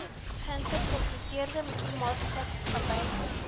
geïnkorpereerde privaatmaatsappy beslote